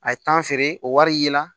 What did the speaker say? A ye tan feere o wari ye la